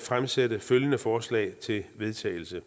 fremsætte følgende forslag til vedtagelse